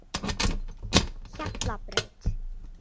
Hjallabraut